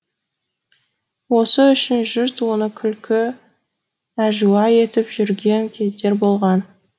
осы үшін жұрт оны күлкі әжуа етіп жүрген кездер болған